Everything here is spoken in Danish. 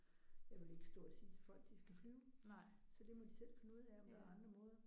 Jeg vil ikke stå og sige til folk de skal flyve så det må de selv finde ud af om der er andre måder